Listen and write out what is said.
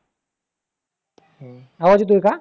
आवाज येतोय का?